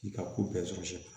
I ka ko bɛɛ sɔrɔ